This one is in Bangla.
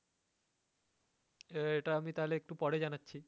আহ এটা তাহলে আমি একটু পরে জানাচ্ছি।